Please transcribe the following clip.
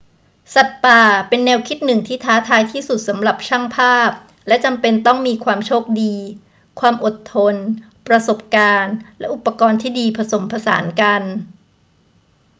สัตว์ป่าเป็นแนวคิดหนึ่งที่ท้าทายที่สุดสำหรับช่างภาพและจำเป็นต้องมีความโชคดี ความอดทน ประสบการณ์และอุปกรณ์ที่ดีผสมผสานกัน